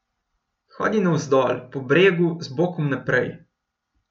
Hodi navzdol po bregu z bokom naprej.